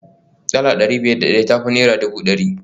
Dala dari biyar da daya ta fi naira dubu dari